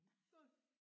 Skål